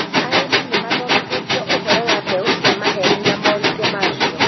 Arĩmi nĩ mathomithirio ũhoro wa mbeũ cia maheeni na moritũ macio